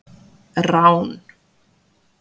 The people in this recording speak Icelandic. Rán